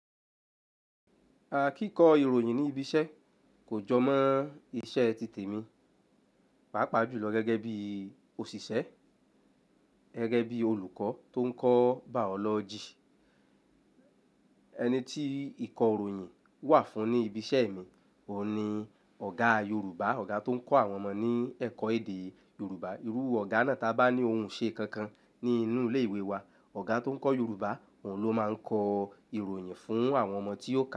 Kíko ìròyìn ní ibi iṣẹ́ kò jọ mọ́ iṣẹ́ ti tèmi. Pàápàá jùlọ gẹ́gẹ́ bí òṣìṣẹ́, gẹ́gẹ́ bí olùkọ́ tó ń kọ́ biology Ẹni tí ìkọ́ ìròyìn wà fún ní ibi iṣẹ́ mi òun ni Ọ̀gá Yorùbá. Ọ̀gá tó ń kọ́ àwọn ọmọ ní ẹ̀kọ́ èdè Yorùbá. Irú Ọ̀gá náà tá bá ní ohun ṣe kankan ní inú ilé ìwé wa, Ọ̀gá tó ń kọ́ Yorùbá òun ló máa ń kọ ìròyìn fún àwọn ọmọ tí ó kà.